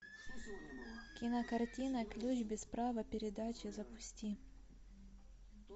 кинокартина ключ без права передачи запусти